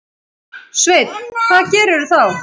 Sveinn: Hvað gerirðu þá?